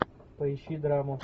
поищи драму